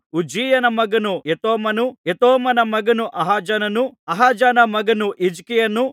ಉಜ್ಜೀಯನ ಮಗನು ಯೋತಾಮನು ಯೋತಾಮನ ಮಗನು ಆಹಾಜನನು ಆಹಾಜನ ಮಗನು ಹಿಜ್ಕೀಯನು